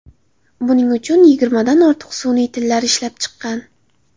Buning uchun yigirmadan ortiq sun’iy tillar ishlab chiqqan.